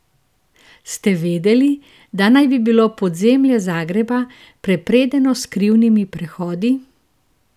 Ste vedeli, da naj bi bilo podzemlje Zagreba prepredeno s skrivnimi prehodi?